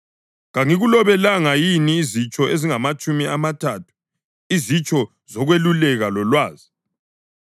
Kangikulobelanga yini izitsho ezingamatshumi amathathu, izitsho zokweluleka lolwazi,